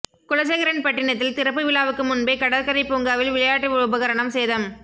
குலசேகரன்பட்டினத்தில் திறப்பு விழாவுக்கு முன்பே கடற்கரை பூங்காவில் விளையாட்டு உபகரணம் சேதம்